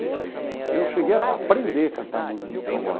E eu cheguei a aprender a cantar música de cowboy.